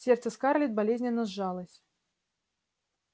сердце скарлетт болезненно сжалось